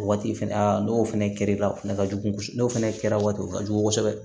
O waati fɛnɛ aa n'o fɛnɛ kɛr'i la o fɛnɛ ka jugu kosɛbɛ n'o fɛnɛ kɛra waati o ka jugu kosɛbɛ